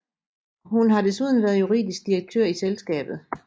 Hun har desuden været juridisk direktør i selskabet